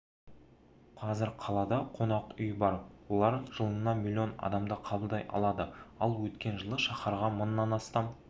қазір қалада қонақүй бар олар жылына миллион адамды қабылдай алады ал өткен жылы шаһарға мыңнан астам